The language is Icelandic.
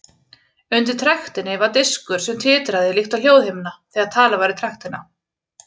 Undir trektinni var diskur sem titraði líkt og hljóðhimna þegar talað var í trektina.